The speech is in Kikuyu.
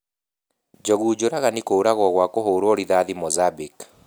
Njogu njũragani kũragwo gua kũhũruo rithati Monzambique.